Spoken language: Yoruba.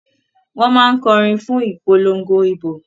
Wọ́n máa ń kọ orin fún ìpolongo ìbò.